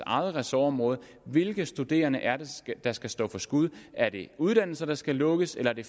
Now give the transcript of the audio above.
eget ressortområde hvilke studerende er det der skal stå for skud er det uddannelser der skal lukkes eller er det